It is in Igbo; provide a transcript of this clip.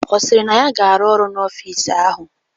Ọ sịrị na ya ga-arụ ọrụ n'ọfịs ahụ?